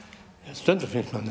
stundum finnst manni